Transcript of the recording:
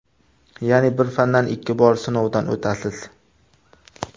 Ya’ni bir fandan ikki bor sinovdan o‘tasiz.